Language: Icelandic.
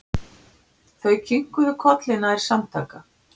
Þau kinkuðu kolli nær samtaka.